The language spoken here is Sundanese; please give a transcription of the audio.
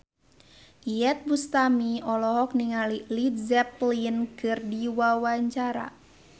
Iyeth Bustami olohok ningali Led Zeppelin keur diwawancara